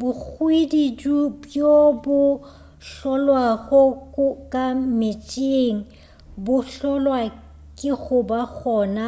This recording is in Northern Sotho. bohwididu bjo bo hlolwago ka meetseng bo hlolwa ke goba gona